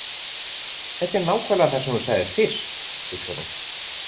Þetta er nákvæmlega það sem þú sagðir fyrst, hugsar hún.